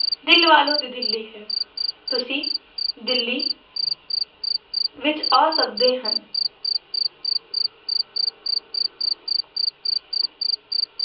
ਦਿਲ ਵਾਲੋ ਦੀ ਦਿੱਲੀ ਹੈ। ਤੁਸੀਂ ਦਿੱਲੀ ਵਿਚ ਆ ਸਕਦੇ ਹਨ।